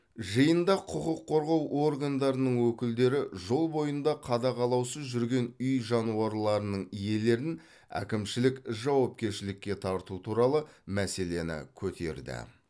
жиында құқық қорғау органдарының өкілдері жол бойында қадағалаусыз жүрген үй жануарларының иелерін әкімшілік жауапкершілікке тарту туралы мәселені көтерді